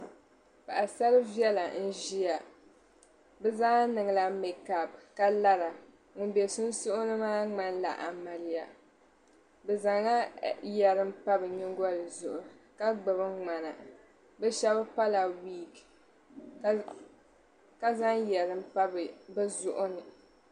Paɣisar' viɛla n-ʒia bɛ zaa niŋla meekapu ka lara. Ŋum be sunsuuni maa ŋmanila amiliya. Bɛ zaŋla yɛri m-pa bɛ nyiŋgoli zuɣu ka ŋmana. Bɛ shɛba pala wiiki ka zaŋ yɛlim pa bɛ zuɣu ni.